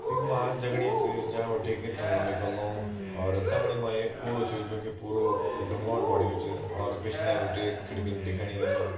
यख मा आग जगणि च जां बिटि कि धुआँ निकल्नु और समणी मा एक कुड़ु च जू कि पुरू डुंगोन बण्यु च और पिछने बिटिन एक खिड़कीन दिखणि वे मा।